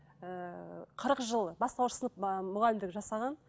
ыыы қырық жыл бастауыш сынып ы мұғалімдік жасаған